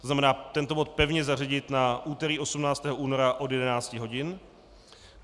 To znamená tento bod pevně zařadit na úterý 18. února od 11 hodin.